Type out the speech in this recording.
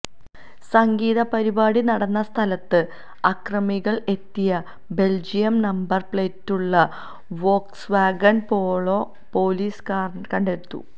സംഗീതപരിപാടി നടന്ന സ്ഥലത്ത് അക്രമികൾ എത്തിയ ബെൽജിയം നമ്പർ പ്ലേറ്റുള്ള വോക്സ്വാഗൺ പോളോ പൊലീസ് കണെ്്ടത്തി